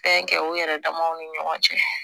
Fɛn kɛ u yɛrɛ damaw ni ɲɔgɔn cɛ